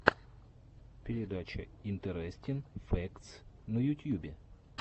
передача интерестин фэктс на ютьюбе